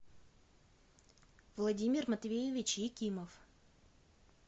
владимир матвеевич якимов